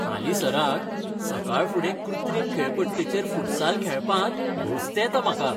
हालींसराक, सकाळफुडें कृत्रीम खेळपट्टेचेर फुटसाल खेळपांत घोस्त येता म्हाका.